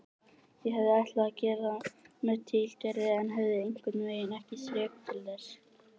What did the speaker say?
Ég hafði ætlað að gera það með tilgerð en hafði einhvernveginn ekki þrek til þess.